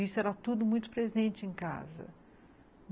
Isso era tudo muito presente em casa.